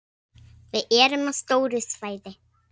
Við erum á stóru svæði.